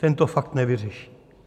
Ten to fakt nevyřeší.